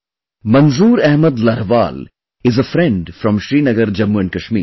Manzoor Ahmed Larhwal is a friend from Srinagar, Jammu and Kashmir